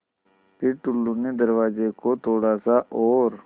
फ़िर टुल्लु ने दरवाज़े को थोड़ा सा और